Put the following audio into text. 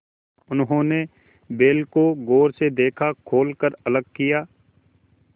उन्होंने बैल को गौर से देखा खोल कर अलग किया